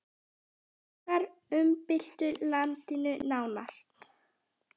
Frakkar umbyltu landinu nánast.